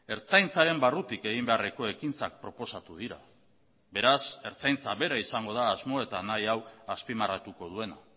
ertzaintzaren barrutik egin beharreko ekintzak proposatu dira beraz ertzaintza bera izango da asmo eta nahi hau azpimarratuko duena